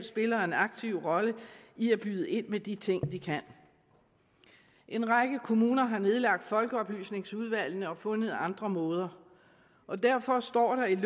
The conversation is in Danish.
spiller en aktiv rolle i at byde ind med de ting de kan en række kommuner har nedlagt folkeoplysningsudvalgene og fundet andre måder og derfor står der ikke